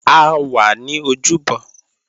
A wà ní ojúbọ